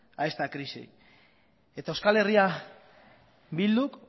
a esta crisis eta euskal herria bilduk